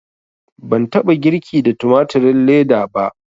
Ban taɓa girki da tumatirin leda ba